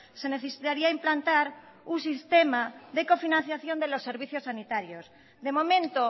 se necesitaría implantar un sistema de cofinanciación de los servicios sanitarios de momento